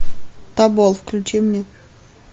тобол включи мне